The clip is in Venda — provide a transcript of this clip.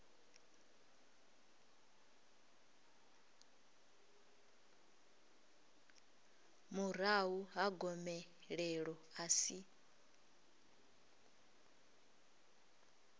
murahu ha gomelelo a si